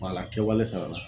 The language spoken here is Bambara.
Wala kɛwale sara la